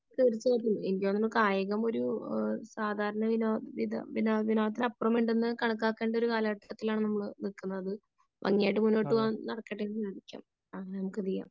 തീർച്ചയായിട്ടും എനിക്ക് തോന്നുന്നു കായികം ഒരു സാധാരണ വിനോദത്തിനപ്പുറമുണ്ടെന്ന് കണക്കാക്കേണ്ട ഒരു കാലഘട്ടത്തിലാണ് നമ്മൾ നില്ക്കുന്നത് . ഭംഗിയായിട്ട് മുന്നോട്ട് പോകാൻ നടക്കട്ടെ എന്ന് ആശംസിക്കാം